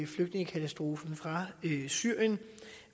flygtningekatastrofen fra syrien og